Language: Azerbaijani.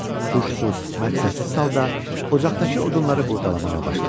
Huşsuz, məqsədsiz halda ocaqdakı odunları qurdalamağa başladı.